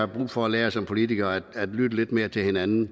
brug for at lære som politikere altså at lytte lidt mere til hinanden